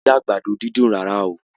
A o ri àgbàdo dídùn rà oo.